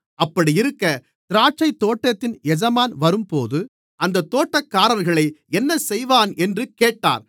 அப்படியிருக்க திராட்சைத்தோட்டத்தின் எஜமான் வரும்போது அந்தத் தோட்டக்காரர்களை என்ன செய்வான் என்று கேட்டார்